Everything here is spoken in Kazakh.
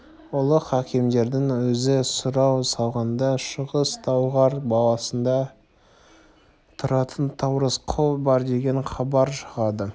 ұлық әкімдердің өзі сұрау салғанда шығыс талғар болысында тұратын таурысқұл бар деген хабар шығады